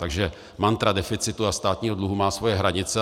Takže mantra deficitu a státního dluhu má svoje hranice.